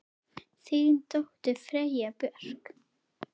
Þín dóttir, Freyja Björk.